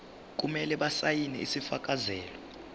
kumele basayine isifakazelo